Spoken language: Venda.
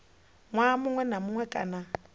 ṅwaha muṅwe na muṅwe kana